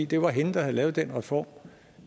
det var hende der havde lavet den reform